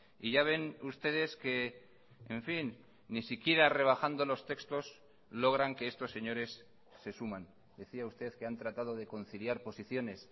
y ya ven ustedes que en fin ni siquiera rebajando los textos logran que estos señores se suman decía usted que han tratado de conciliar posiciones